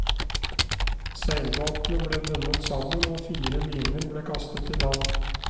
Seilbåtene ble bundet sammen og fire liner ble kastet i land.